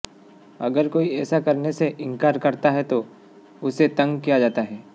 अगर कोई ऐसा करने से इंकार करता है तो उसे तंग किया जाता है